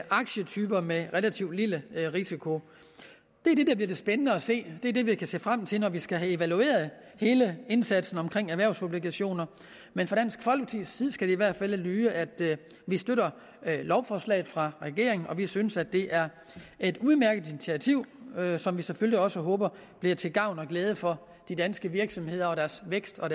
aktietyper med relativt lille risiko det bliver spændende at se og det er det vi kan se frem til når vi skal have evalueret hele indsatsen omkring erhvervsobligationer men fra dansk folkepartis side skal det i hvert fald lyde at vi støtter lovforslaget fra regeringen og vi synes det er et udmærket initiativ som vi selvfølgelig også håber bliver til gavn og glæde for de danske virksomheder og deres vækst og